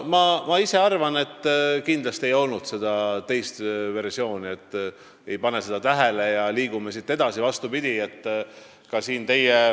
Ma arvan, et kindlasti ei olnud seda teist versiooni, et ehk ei panda sarnasust tähele ja liigume edasi.